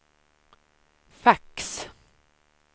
fax